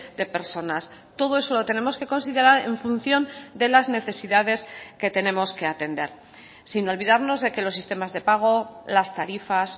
de personas todo eso lo tenemos que considerar en función de las necesidades que tenemos que atender sin olvidarnos de que los sistemas de pago las tarifas